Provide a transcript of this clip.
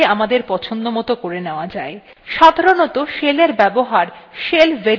সাধারনতঃ শেলের এর ব্যবহার শেল variable গুলির দ্বারা নির্ধারিত হয়